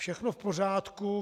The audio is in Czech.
Všechno v pořádku.